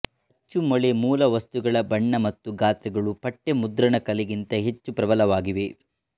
ಅಚ್ಚುಮೊಳೆ ಮೂಲವಸ್ತುಗಳ ಬಣ್ಣ ಮತ್ತು ಗಾತ್ರಗಳು ಪಠ್ಯ ಮುದ್ರಣಕಲೆಗಿಂತ ಹೆಚ್ಚು ಪ್ರಬಲವಾಗಿವೆ